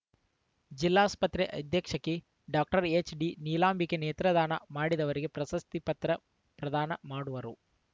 ಜಿಲ್ಲಾಸ್ಪತ್ರೆ ಅಧೀಕ್ಷಕಿ ಡಾಕ್ಟರ್ ಎಚ್‌ಡಿನೀಲಾಂಬಿಕೆ ನೇತ್ರದಾನ ಮಾಡಿದವರಿಗೆ ಪ್ರಶಸ್ತಿ ಪತ್ರ ಪ್ರದಾನ ಮಾಡುವರು